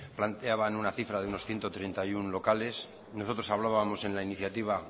planteaban una cifra de unos ciento treinta y uno locales nosotros hablábamos en la iniciativa